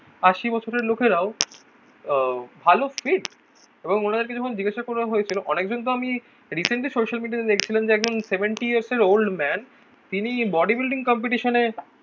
আশি বছরের লোকেরাও আহ ভালো এবং ওনাদেরকে যখন জিজ্ঞাসা করা হয়েছিল অনেকজন তো আমি রিসেন্টলি সোশ্যাল মিডিয়াতে দেখছিলাম যে একজন সেভেন্টি ইয়ার্স এর ওল্ড ম্যান তিনি বডি বিল্ডিং কম্পিটিশান এ